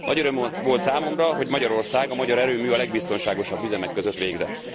Nagy öröm volt számomra, hogy Magyarország, a magyar erőmű a legbiztonságosabb üzemek között végzett.